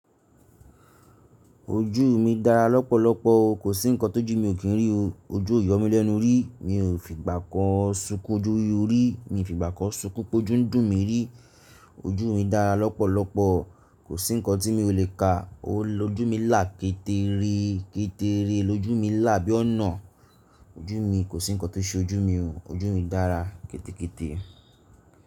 Ojú mi dáadáa lọ́pọ̀lọpọ̀ kòsí ǹkan tó ju mi ò kin rí ojú o yomi lẹ́nu rí mi fi gba kan sukun o ju rí, mi fi gba kan sunkún pé ojú ń dùn mi ríi. Ojú mi dára lọ́pọ̀lọpọ̀, kò sí ǹkan tí mi ò le ka o. Ojú mi là kétẹ́rẹ́ kétẹ́rẹ́, lójú mi là bí ọ̀nà. Ojú mi kò sí ǹkan tó ṣe ojú mi o, ojú mi dára ketekete.